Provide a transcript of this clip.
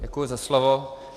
Děkuji za slovo.